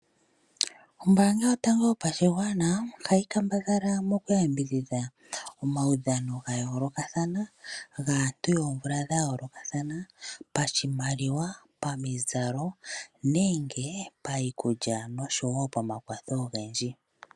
Oombanga yotango yopashigwana ohayi kambadhala mokuyambidhidha omawu dhano ga yoolokathana gaantu yomvula dha yoolokathana pashimaliwa, pamizalo nenge payikulya noshowo pamakwatho ogendji.